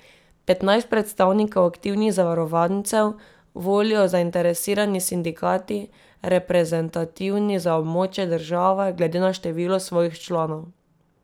Petnajst predstavnikov aktivnih zavarovancev volijo zainteresirani sindikati, reprezentativni za območje države, glede na število svojih članov.